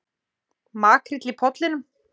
Makríll í Pollinum